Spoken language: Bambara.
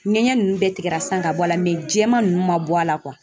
Ŋɛɲɛ ninnu bɛɛ tigɛra sisan ka bɔ a la mɛ jɛman ninnu ma bɔ a la